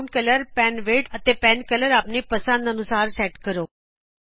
background colour pen width ਅਤੇ pen colour ਆਪਣੀ ਪੰਸਦ ਅਨੁਸਾਰ ਸੈਟ ਕਰੋ